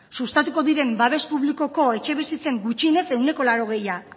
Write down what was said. sustatuko diren babes publikoko etxebizitzen gutxienez ehuneko laurogeita